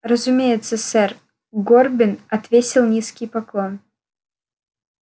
разумеется сэр горбин отвесил низкий поклон